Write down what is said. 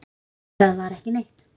Nei, þar var ekki neitt.